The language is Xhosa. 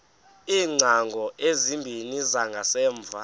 iingcango ezimbini zangasemva